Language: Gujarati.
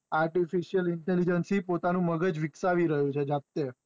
artificalintelegence પોતાનું મગજ વિક્શાવી રહીયો છે જાતે